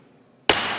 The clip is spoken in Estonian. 11.